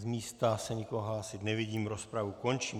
Z místa se nikoho hlásit nevidím, rozpravu končím.